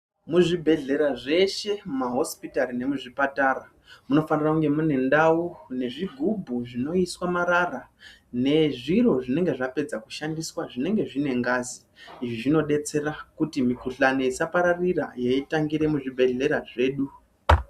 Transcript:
Muzvibhedhlera zveshe mumahosipitari memuzvipatara munofanira kunge mune ndau nezvigubhu zvinoiswa marara nezviro zvinenge zvapedza kushandiswa zvinenge zvine ngazi izvi zvinodetsera kuti mikuhlani isapararira yeitangira muzvibhedhlera zvedu.